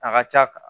A ka ca